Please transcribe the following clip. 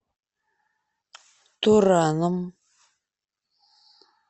тураном